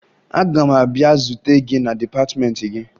Aga m abịa zute gị na dịpatịmeentị gị